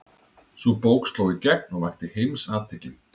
Sú bók sló í gegn og vakti heimsathygli.